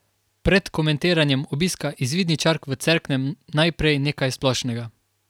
Pred komentiranjem obiska izvidničark v Cerknem najprej nekaj splošnega.